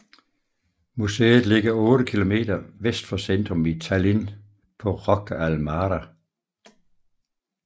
Museet ligger 8 km vest for centrum i Tallinn på Rocca al Mare